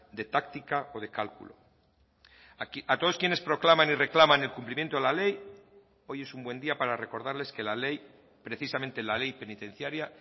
de táctica o de cálculo a todos quienes proclaman y reclaman el cumplimiento de la ley hoy es un buen día para recordarles que la ley precisamente la ley penitenciaria